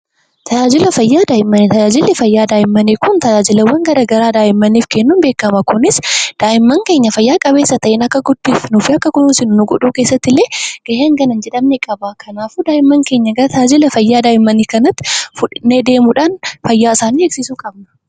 Tajaajilli fayyaa daa'immanii kun tajaajila garagaraa daa'immaniif kennuun beekkama. Kunis daa'imman keenya haala fayyaa qabeessa ta'een akka guddisnuuf fi akka kunuunsinu nu gochuu keessattillee gahee hagana hin jedhamne qaba. Kanaafuu daa'imman keenya tajaajila fayyaa kanatti fudhannee adeemuudhaan fayya isaanii eegsisuu qabna.